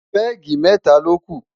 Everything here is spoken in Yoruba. pegi meta loku